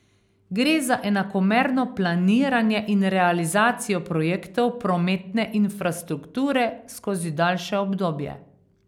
Gre za enakomerno planiranje in realizacijo projektov prometne infrastrukture skozi daljše obdobje.